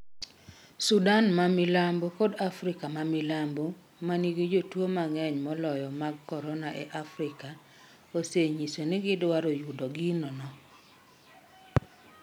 Sudan ma Milambo kod Afrika ma Milambo, ma nigi jotuo mang'eny moloyo mag corona e Afrika, osenyiso ni gidwaro yudo gino no.